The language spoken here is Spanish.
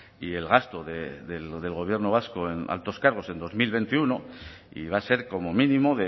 y el gasto del gobierno vasco en altos cargos en dos mil veintiuno y va a ser como mínimo